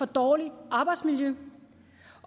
dårligt arbejdsmiljø